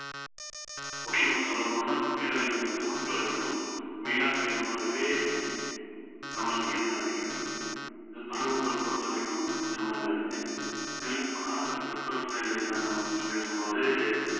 முக்கியமா சொல்லப் போனா இந்த பேரழிவை வந்து மக்கள் அதிகம் மீளா துயரமாகவே நமக்கு இருந்து வருகிறது இந்த பருவங்களைப் பொறுத்தவரைக்கும் இந்த மாதிரிதான் இதுலயும் காலங்கள் தட்பவெப்ப நிலை என்னன்னு நம்ம பத்தி பேசும்போது